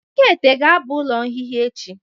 Ekaete ga-aba ụlọ nhịha echi.